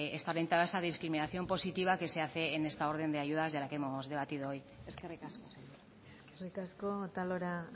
está orientada esta discriminación positiva que se hace en esta orden de ayudas de la que hemos debatido hoy eskerrik asko eskerrik asko otalora